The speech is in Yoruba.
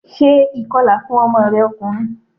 Ṣé ìkọla fún ọmọ rẹ ọkùnrin!